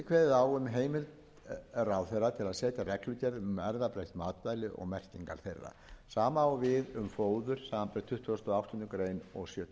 á um heimild ráðherra til að setja reglugerð um erfðabreytt matvæli og merkingar þeirra sama á við um fóður samanber tuttugustu og áttunda og sjötugasta greinar